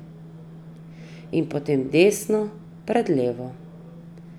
In potem desno pred levo.